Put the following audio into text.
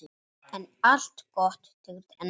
En allt gott tekur enda.